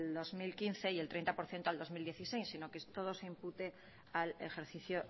dos mil quince y el treinta por ciento al dos mil dieciséis sino que todo se impute al ejercicio